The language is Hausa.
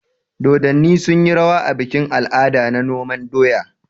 Dodonni sunyi rawa a bikin al'ada na noman doya.